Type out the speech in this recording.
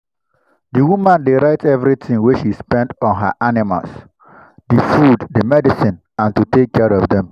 my loss don reduce well well because i make sure say i do correct moni plan for every work for the farm.